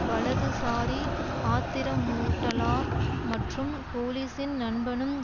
வலதுசாரி ஆத்திரமூட்டலார் மற்றும் போலீசின் நண்பனும்